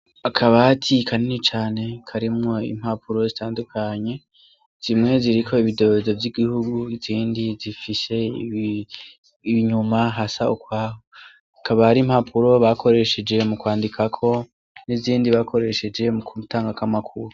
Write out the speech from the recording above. Akabati kanini cane karimwo impapuro zitandukanye zimwe ziriko ibidorozo vy'igihugu zindi zifishe ibinyuma hasa ukwaho akabari mpapuro bakoresheje mu kwandikako n'izindi bakoresheje mu kmutanga k'amakuru.